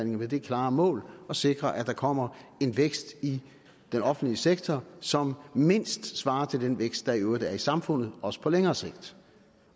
med det klare mål at sikre at der kommer en vækst i den offentlige sektor som mindst svarer til den vækst der i øvrigt er i samfundet også på længere sigt